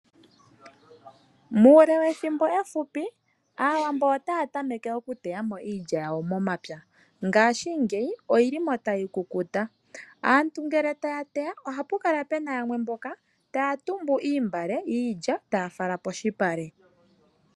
Muule wethimbo efupi aawambo otaya tameke okuteyamo iilya yawo momapya ngaashi ngeyi oyilimo tayi kukuta. Aantu ngele taya teya ohapu kala pena yamwe mboka taya tumbu iimbale yiilya taya fala poshipale.